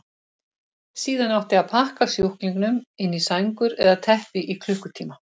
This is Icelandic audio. Síðan átti að pakka sjúklingunum inn í sængur eða teppi í klukkutíma.